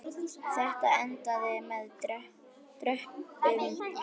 Þetta endaði með döprum hætti.